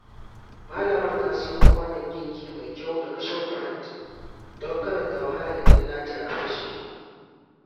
Malamar ta siyo kwanon girki mai kyau daga Shoprite don kada ta wahala idan nata ya fashe.